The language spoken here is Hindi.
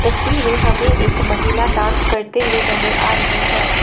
तस्वीर में हमें एक महिला डांस करते हुए नजर आ रही है।